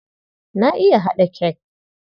Na iya haɗa cake.